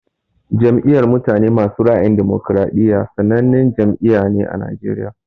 Jam'iyar mutane masu ra'ayin damokariɗiya sannanen jam'iyya ne ã Najeriya.